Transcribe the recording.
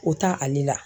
O ta ale la